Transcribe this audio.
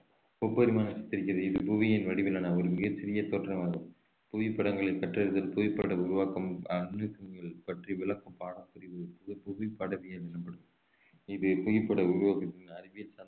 முப்பரிமாண இது புவியின் வடிவிலான ஒரு மிகச்சிறிய தோற்றமாகும் புவிப்படங்களை கற்றறிதல் புவிப்படம் உருவாக்கம் பற்றி விளக்கும் பாடப்பிரிவு எனப்படும் இது புவிப்பட உருவாக்கத்தின் அறிவியல் சார்ந்த தளம்